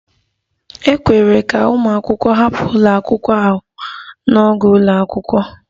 E kwere ka ụmụ akwụkwọ hapụ ụlọ akwụkwọ ahụ n'oge ụlọ akwụkwọ?